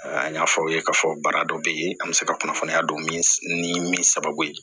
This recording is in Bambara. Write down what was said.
An y'a fɔ aw ye k'a fɔ baara dɔ bɛ ye an bɛ se ka kunnafoniya don min ni min sababu ye